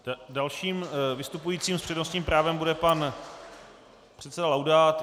Dalším vystupujícím s přednostním právem bude pan předseda Laudát.